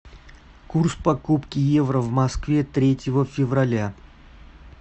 курс покупки евро в москве третьего февраля